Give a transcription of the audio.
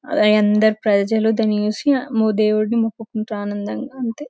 అదే అందరి ప్రైజులు దాని చూసి ఆమ్మో దేవుణ్ణి మొక్కుకుంటా ఆనందంగా అంతే.